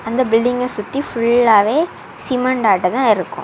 இந்த பில்டிங்கை சுத்தி ஃபுல்லாவே சிமெண்ட் ஆட்டந்தா இருக்கும்.